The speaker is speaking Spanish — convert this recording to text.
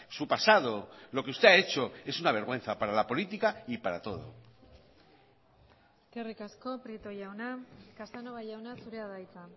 su pasado lo que usted ha hecho es una vergüenza para la política y para todo eskerrik asko prieto jauna casanova jauna zurea da hitza